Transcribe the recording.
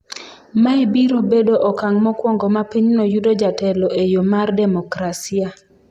Mae biro bedo okang’ mokwongo ma pinyno yudo jatelo e yo mar demokrasia.